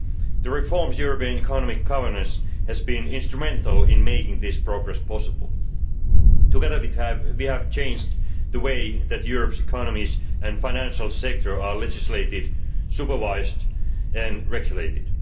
The reforms to European economic governance have been instrumental in making this progress possible. Together, we have changed the way that Europe's economies and financial sector are legislated, supervised and regulated.